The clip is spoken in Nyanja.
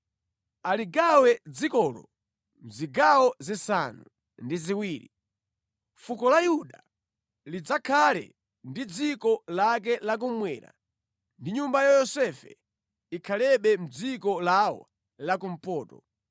Aligawe dzikolo mʼzigawo zisanu ndi ziwiri; fuko la Yuda lidzakhale ndi dziko lake la kummwera ndi nyumba ya Yosefe ikhalebe mʼdziko lawo la kumpoto.